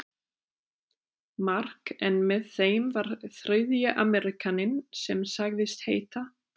Mark en með þeim var þriðji Ameríkaninn sem sagðist heita